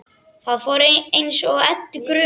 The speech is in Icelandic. Það fór þá eins og Eddu grunaði.